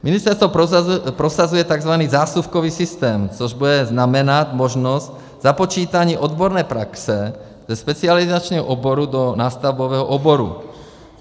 Ministerstvo prosazuje tzv. zásuvkový systém, což bude znamenat možnost započítání odborné praxe ve specializačním oboru do nástavbového oboru.